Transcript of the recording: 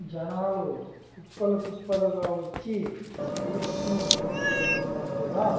జనాలు కుప్పలు కుప్పలుగా వచ్చి స్వీట్స్ ను కొనికెళ్తున్నట్టుగా.